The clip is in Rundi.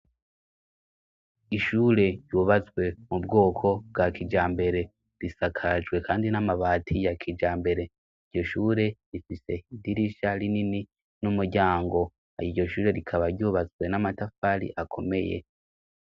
Ishure ryubazwe mu bwoko bwa kija mbere risakajwe, kandi n'amabati ya kija mbere iryo shure rifise idirisha rinini n'umuryango ayo iryo shure rikaba ryubazwe n'amatafari akomeye.